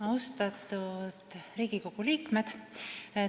Austatud Riigikogu liikmed!